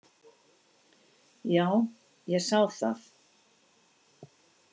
Já, ég sá það.